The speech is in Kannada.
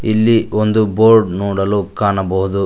ಇಲ್ಲಿ ಒಂದು ಬೋರ್ಡ್ ನೋಡಲು ಕಾಣಬಹುದು.